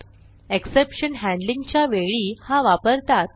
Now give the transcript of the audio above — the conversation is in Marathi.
एक्सेप्शन हॅण्डलिंग च्या वेळी हा वापरतात